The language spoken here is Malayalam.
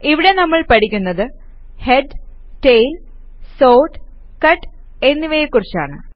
ഇവിടെ നമ്മൾ പഠിക്കുന്നത് ഹെഡ് ടെയിൽ സോർട്ട് കട്ട് എന്നിവയെ കുറിച്ചാണ്